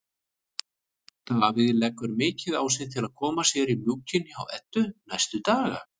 Davíð leggur mikið á sig til að koma sér í mjúkinn hjá Eddu næstu daga.